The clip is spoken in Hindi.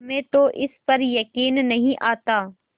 हमें तो इस पर यकीन नहीं आता